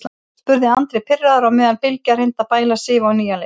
spurði Andri pirraður á meðan Bylgja reyndi að bæla Sif á nýjan leik.